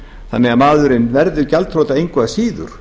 þannig að maðurinn verður gjaldþrota engu að síður